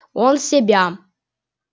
он себя